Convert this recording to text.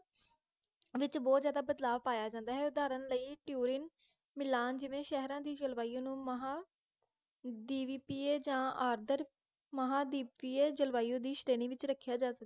ਵਿਚ ਬੋਹੋਤ ਜ਼ਿਆਦਾ ਬਦਲਾਵ ਪਾਇਆ ਜਾਂਦਾ ਹੈ ਉਦਾਹਰਣ ਲਈ ਟਿਊਰੀਨ ਮਿਲਾਨ ਜਿਵੇ ਸੇਹਰਾ ਦੀ ਜਲਵਾਯੂ ਨੂੰ ਮਹਾ ਦਿਵੀਪੀਏ ਆਦਰ ਜਾ ਮਹਾਦੀਪੀਏ ਜਲਵਾਯੂ ਦੀ ਸ਼੍ਰੇਣੀ ਵਿਚ ਰਖ੍ਯਾ ਜਾ ਸਕਦਾ